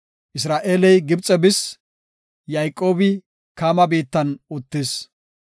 Isra7eeley Gibxe bis; Yayqoobi Kaama biittan uttis.